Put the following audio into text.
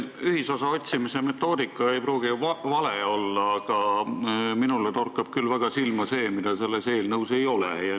See ühisosa otsimise metoodika ei pruugi ju vale olla, aga minule torkab küll väga silma see, mida selles eelnõus ei ole.